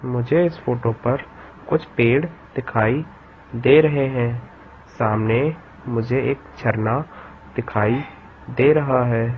मुझे इस फोटो पर कुछ पेड़ दिखाई दे रहे हैं सामने मुझे एक झरना दिखाई दे रहा है।